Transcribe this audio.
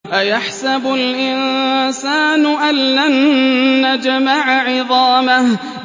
أَيَحْسَبُ الْإِنسَانُ أَلَّن نَّجْمَعَ عِظَامَهُ